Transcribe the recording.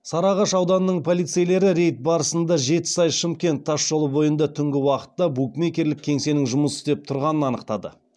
сарыағаш ауданының полицейлері рейд барысында жетісай шымкент тасжолы бойында түнгі уақытта букмекерлік кеңсенің жұмыс істеп тұрғанын анықтады